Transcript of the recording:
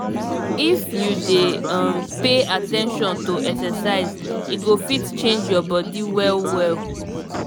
if you dey um pay at ten tion to exercise e go fit change your body well well.